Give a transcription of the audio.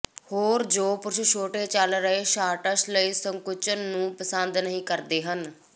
ਹੋਰ ਜੋ ਪੁਰਸ਼ ਛੋਟੇ ਚੱਲ ਰਹੇ ਸ਼ਾਰਟਸ ਲਈ ਸੰਕੁਚਨ ਨੂੰ ਪਸੰਦ ਨਹੀਂ ਕਰਦੇ ਹਨ